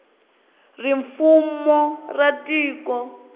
ri fumo ra tiko